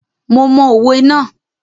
Mo mọ òwe ná.